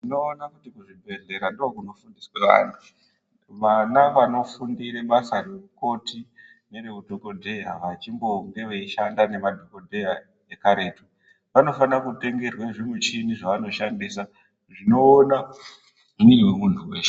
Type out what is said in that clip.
Tioona kuti kuzvibhedhlera ndookunofundiswe vantu. Vana vanofundire basa reukoti nereudhokodheya vachimbonge veishanda nemadhokodheya ekaretu vanofanire kutengerwa zvimichini zvavanoshandisa zvinoona mwiri wemuntu weshe.